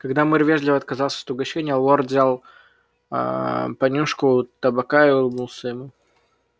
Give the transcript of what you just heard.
когда мэр вежливо отказался от угощения лорд взял аа понюшку табака и улыбнулся ему